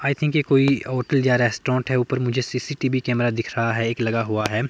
आई think की कोई hotel जा रेस्टोरेंट है। ऊपर मुझे सी_सी_टी_वी कैमरा दिख रहा है एक लगा हुआ है।